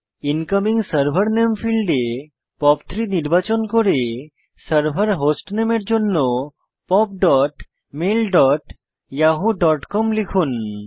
incoming server নামে ফীল্ডে POP3 নির্বাচন করে সার্ভার হোস্টনেমের জন্য pop dot mail dot Yahoo dot com লিখুন